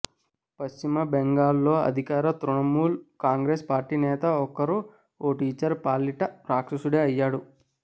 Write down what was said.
పశ్చిమ బెంగాల్ లో అధికార తృణమూల్ కాంగ్రెస్ పార్టీ నేత ఒకరు ఓ టీచర్ పాలిట రాక్షసుడే అయ్యాడు